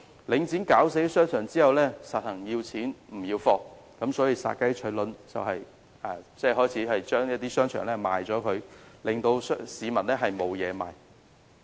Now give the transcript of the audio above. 領展"搞死"商場後，乾脆要錢不要貨，以殺雞取卵的方法開始出售商場，致令市民無法購物。